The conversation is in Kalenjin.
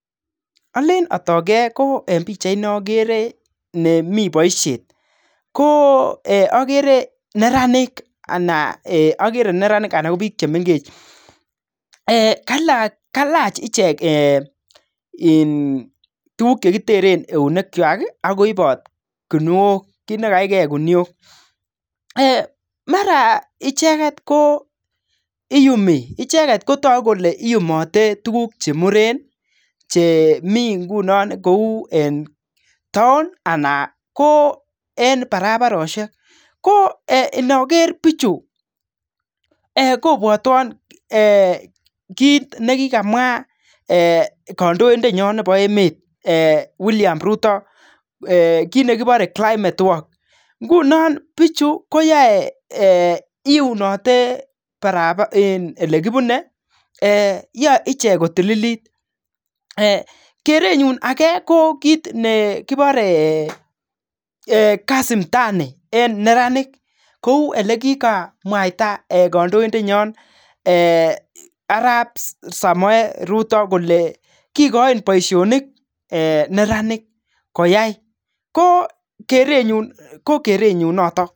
Ale atager ko en pichait komi boishet. Ko agere neranik ana ko biik chemengech, kailach icheket kit ne kitere eunek chwaik akoibot kinuok, kit ne kaige kinuok .Mara icheket kotogu kole iyumi icheket tukuk che muren, che mi nguno kou towm ana ko en barabaroshek. Ko nager bichu kobwotwa kiit ne kikamwa kandoindet nyo nebo emet, Willian rutto kit nekiborei climate work nguno biichu koyaei, iunotei ole kipunei yaei icheket kotililit. Kerenyu age ko kit nekiporei kazi mtaani en neranik kou ole kikamwaita kandoidenyo arap Samoei rutto kole kikoin boishonik neranik koyai. Ko kerenyu ko kerenyu notok.